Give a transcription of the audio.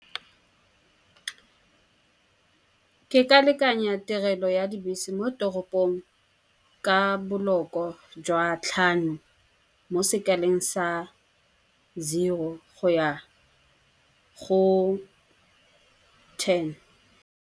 Ke ka lekanyetsa tirelo ya dibese mo toropong ka boloko jwa tlhano, mo sekaleng sa zero go ya go ten.